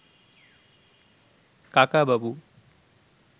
কাকাবাবু